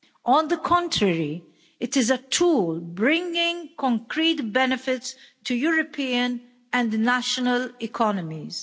On the contrary, it is a tool bringing concrete benefits to European and national economies.